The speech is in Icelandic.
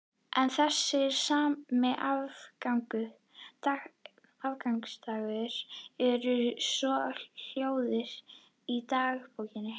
En þessi sami aðfangadagur er svohljóðandi í dagbókinni